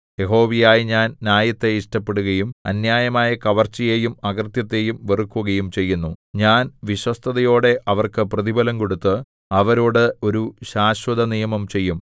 യഹോവയായ ഞാൻ ന്യായത്തെ ഇഷ്ടപ്പെടുകയും അന്യായമായ കവർച്ചയെയും അകൃത്യത്തെയും വെറുക്കുകയും ചെയ്യുന്നു ഞാൻ വിശ്വസ്തതയോടെ അവർക്ക് പ്രതിഫലം കൊടുത്ത് അവരോടു ഒരു ശാശ്വതനിയമം ചെയ്യും